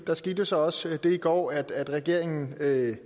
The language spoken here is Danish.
der skete jo så også det i går at regeringen